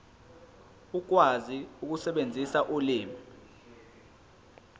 ukwazi ukusebenzisa ulimi